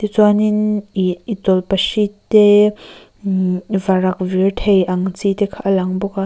chuanin ih tawlhpahrit te imm varak vir thei ang chi te kha a lang bawk a.